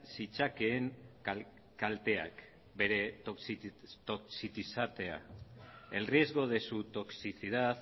zitzakeen kalteak bere toxititatea el riesgo de su toxicidad